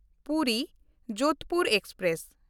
ᱯᱩᱨᱤ–ᱡᱳᱫᱷᱯᱩᱨ express